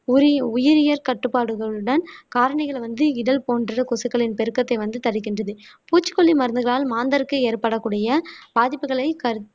உரி உயிரியல் கட்டுப்பாடுகளுடன் காரணிகளை வந்து இத போன்ற கொசுக்களின் பெருக்கத்தை வந்து தடுக்கின்றது பூச்சிக்கொல்லி மருந்துகளால் மாந்தருக்கு ஏற்படக்கூடிய பாதிப்புகளை கரு